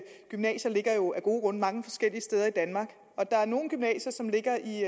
gymnasier jo af gode grunde ligger mange forskellige steder i danmark og der er nogle gymnasier som ligger i